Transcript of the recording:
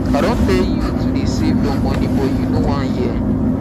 i don tell you to dey save your money but you no wan hear